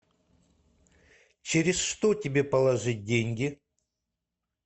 через что тебе положить деньги